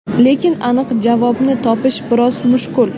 Lekin aniq javobni topish biroz mushkul.